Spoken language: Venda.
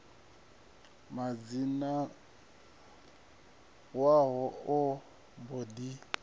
musidzana wavho a mbo ḓi